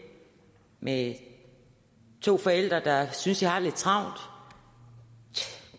med to forældre der synes de har lidt travlt